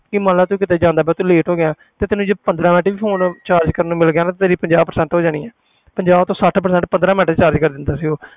ਕਿ ਮੰਨ ਲਾ ਤੂੰ ਕਿਤੇ ਜਾਂਦਾ ਪਿਆ ਤੂੰ late ਹੋ ਗਿਆ ਤੇ ਤੈਨੂੰ ਜੇ ਪੰਦਰਾਂ ਮਿੰਟ ਲਈ phone charge ਕਰਨ ਨੂੰ ਮਿਲ ਗਿਆ ਨਾ ਤੇਰੀ ਪੰਜਾਹ percent ਹੋ ਜਾਣੀ ਹੈ ਪੰਜਾਹ ਤੋਂ ਸੱਠ percent ਪੰਦਰਾਂ ਮਿੰਟ ਵਿੱਚ charge ਕਰ ਦਿੰਦਾ ਸੀ ਉਹ